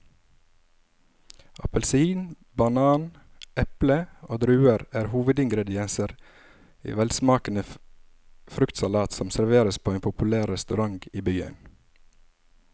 Appelsin, banan, eple og druer er hovedingredienser i en velsmakende fruktsalat som serveres på en populær restaurant i byen.